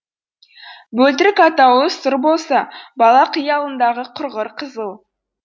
бөлтірік атаулы сұр болса бала қиялындағы құрғыр қызыл